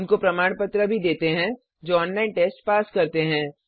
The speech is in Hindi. उनको प्रमाण पत्र भी देते हैं जो ऑनलाइन टेस्ट पास करते हैं